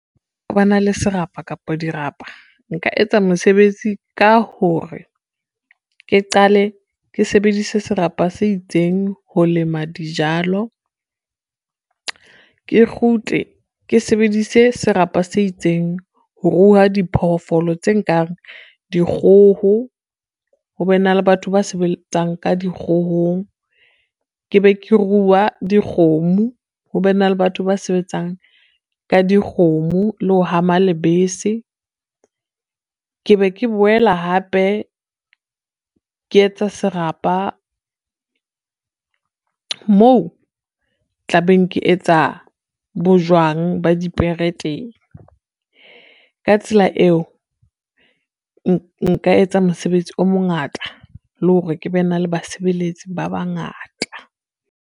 Ba na le serapa kapa dirapa nka etsa mesebetsi ka hore ke qale ke sebedise serapa se itseng ho lema dijalo, ke kgutle ke sebedise serapa se itseng ho ruha diphoofolo tse nkang dikgoho ho be na le batho ba sebetsang ka di kgohong. Ke be ke ruwe dikgomo ho be na le batho ba sebetsang ka dikgomo le ho hama lebese. Ke be ke boela hape ke etsa serapa moo tlabeng ke etsa bojwang ba dipere teng. Ka tsela eo, nka etsa mosebetsi o mongata le hore ke be na le basebeletsi ba bangata.